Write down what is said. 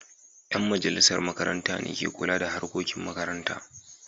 Yan majalisar makaranta ne ke kula da harkokin makaranta.